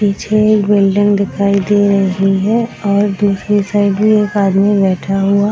पीछे एक बिल्डिंग दिखाई दे रही है और दूसरी साइड भी एक आदमी बैठा हुआ --